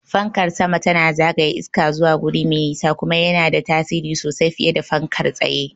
Fankar sama tana zagaya iska zuwa guri me nisa, kuma yana da tasiri sosai fiye da fankar tsaye.